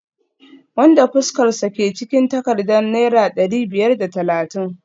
wanda fuskarsa ke cikin takardar naira dari biyar da talatin